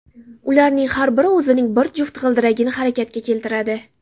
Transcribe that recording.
Ularning har biri o‘zining bir juft g‘ildiragini harakatga keltiradi.